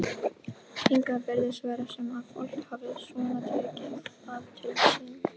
Hingað virðist vera sem að fólk hafi svona tekið það til sín?